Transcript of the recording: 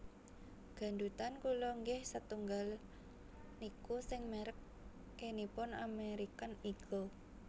Gandutan kula nggeh setunggal niku sing merk e nipun American Eagle